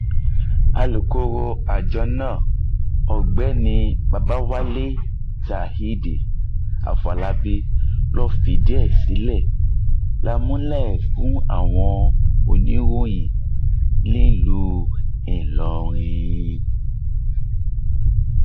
alūkkóró àjọ náà ọgbẹni babáwálé zaid afòlábí ló fìdí ìṣẹlẹ náà múlẹ fún àwọn oníròyìn nílùú ìlọrin